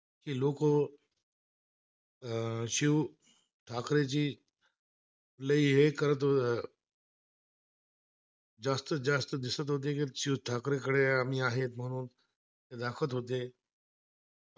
जास्तत जास्त दिसत होतेची शिव ठाकरेंकडे आम्ही आहेत म्हणून, दाखवत होत